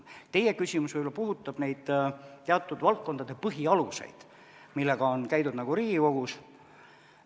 Teie küsimus võib-olla puudutab neid teatud valdkondade põhialuseid, millega on käidud Riigikogus.